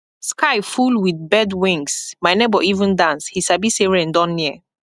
sky full with bird wingsmy neighbor even dance he sabi say rain don near